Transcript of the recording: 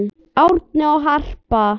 Árni og Harpa.